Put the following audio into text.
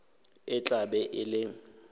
e tla be e le